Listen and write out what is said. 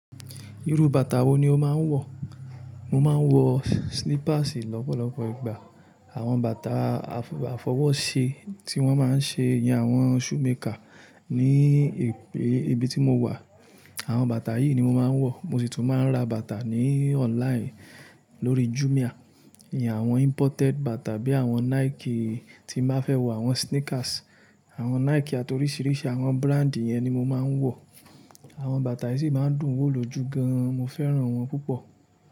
Irú bàtà wo ni o máa ń wọ̀? Mo máa ń wọ slippers lọ́pọ̀lọpọ̀ ìgbà. Àwọn bàtà àfọwọ́ṣe tí wọ́n máa ń ṣe ìyẹn àwọn shoemaker ní ìpín ibi tí mo wà. Àwọn bàtà yìí ni mo máa ń wọ̀. Mo sì tún máa ń ra bàtà ní online lórí Jumia. Ni àwọn imported bàtà bí i àwọn Nike tí mo fẹ́ wọ̀, àwọn sneakers, àwọn Nike àti oríṣiríṣi àwọn brand yẹn ni mo máa ń wọ̀. Àwọn bàtà yìí sì máa ń dùn wò lójú gan-an, mo fẹ́ràn wọ́n púpọ̀.